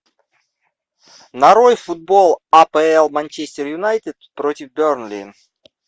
нарой футбол апл манчестер юнайтед против бернли